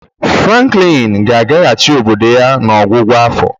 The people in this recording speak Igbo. Franklin ga-agagachi obodo ya n'ọgwụgwụ afọ.